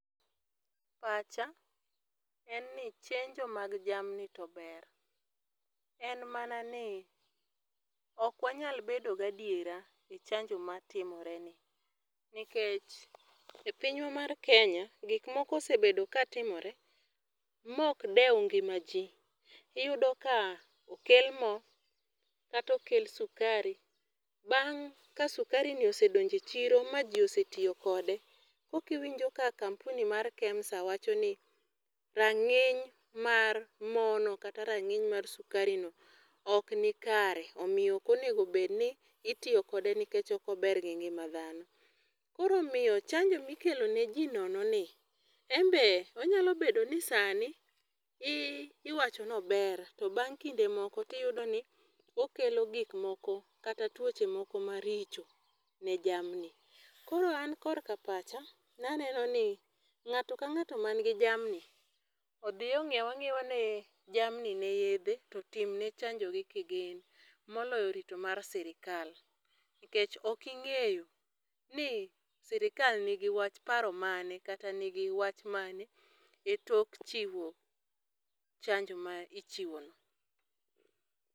Pacha en ni chenjo mag jamni to ber, en mana ni ok wanyal bedo gi adiera e chanjo matimore ni. Nikech e pinywa mar Kenya, gik moko osebedo katimore, ma ok dew ngima ji. Iyudo ka okel mo, kata okel sukari, bang' ka sukari ni osedonje chiro ma ji osetiyo kode, koka iwinjo ka Kampuni mar KEMSA wachoni, rangíny mar morno, kata rangíny mar sukarino ok ni kare. Omiyo ok onego bed ni itiyo kode nikech ok ober gi ngima dhano. Koro omiyo chanjo mikeloneji nono ni, en be onyalo bedo ni sani i iwacho ni ober, to bang' kinde moko iyudo ni okelo gik moko, kata tuoche moko maricho ne jamni. Koro an korka pacha, ne aneno ni, ngáto ka ngáto man gi jamni, odhi onyiew anyiewa jamni ne yiedhe, to otim ne chanjo gi kigin moloyo rito mar sirkal. Nikech okingéyo ni sirkal nigi wach, paro mane, kata nigi wach mane, e tok chiwo chanjo ma ichiwono.